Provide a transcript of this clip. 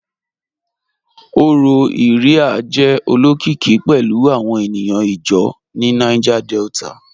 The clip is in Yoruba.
Ọrọ Iría jẹ̀ olokikì pẹ̀lu awọn ènìyàn ìjáw ni Niger Delta